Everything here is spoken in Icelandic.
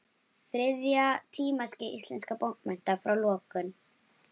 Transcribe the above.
Þriðja tímaskeið íslenskra bókmennta, frá lokum